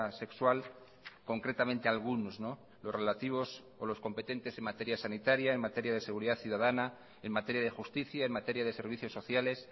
sexual concretamente algunos los relativos o los competentes en materia sanitaria en materia de seguridad ciudadana en materia de justicia en materia de servicios sociales